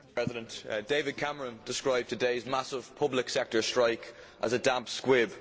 Mr President, David Cameron described today's massive public sector strike as a damp squib.